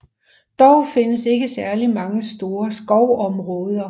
Dog findes ikke særligt mange store skovområder